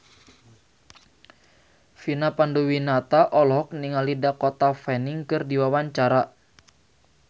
Vina Panduwinata olohok ningali Dakota Fanning keur diwawancara